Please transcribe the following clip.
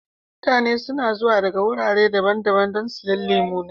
Mutane suna zuwa daga wurare daban-daban don siyan lemu na.